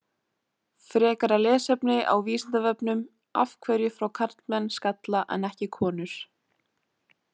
Frekara lesefni á Vísindavefnum Af hverju fá karlmenn skalla en ekki konur?